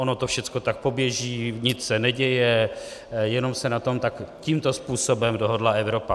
Ono to všechno tak poběží, nic se neděje, jenom se na tom tak tímto způsobem dohodla Evropa.